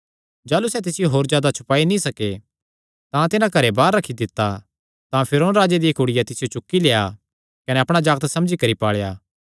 जाह़लू सैह़ तिसियो होर जादा छुपाई नीं सके तां तिन्हां घरे बाहर रखी दित्ता तां फिरौन राजे दिया कुड़िया तिसियो चुक्की लेआ कने अपणा जागत समझी करी पाल़ेया